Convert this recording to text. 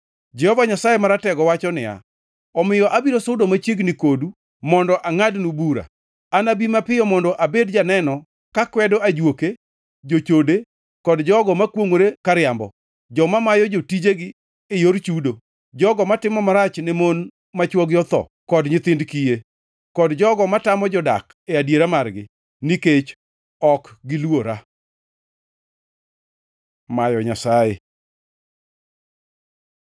Jehova Nyasaye Maratego wacho niya, “Omiyo abiro sudo machiegni kodu mondo angʼadnu bura, anabi mapiyo mondo abed janeno ka kwedo ajuoke, jochode kod jogo makwongʼore kariambo, joma mayo jotijegi e yor chudo, jogo matimo marach ne mon ma chwogi otho kod nyithind kiye, kod jogo matamo jodak e adiera margi, nikech ok giluora.” Mayo Nyasaye